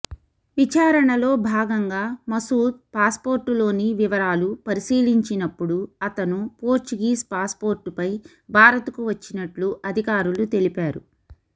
విచారణలో భాగంగా మసూద్ పాస్పోర్టులోని వివరాలు పరిశీలిచినప్పుడు అతను పోర్చుగీస్ పాస్పోర్టుపై భారత్కు వచ్చినట్లు అధికారులు తెలిపారు